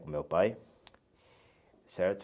Com o meu pai, certo?